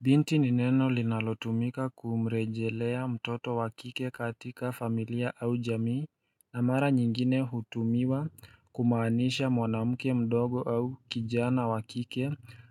Binti ni neno linalotumika kumrejelea mtoto wa kike katika familia au jamii na mara nyingine hutumiwa kumaanisha mwanamke mdogo au kijana wa kike